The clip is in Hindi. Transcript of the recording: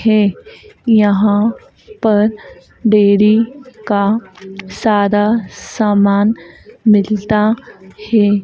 है यहां पर डेरी का सारा सामान मिलता है।